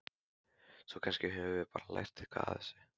Svo kannski höfum við bara lært eitthvað á þessu.